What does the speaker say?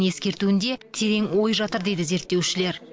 ескертуінде терең ой жатыр дейді зерттеушілер